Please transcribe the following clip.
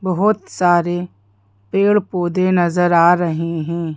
बहुत सारे पेड़-पौधे नजर आ रहे हैं।